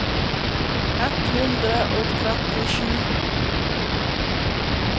ett hundre og trettisju